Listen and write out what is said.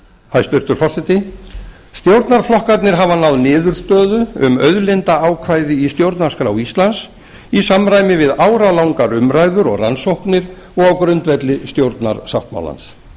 hæstvirtur forseti stjórnarflokkarnir hafa náð niðurstöðu um auðlindaákvæði í stjórnarskrá íslands i samræmi við áralangar umræður og rannsóknir og á grundvelli stjórnarsáttmálans